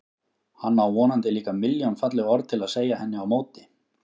Hann á vonandi líka milljón falleg orð til að segja henni á móti.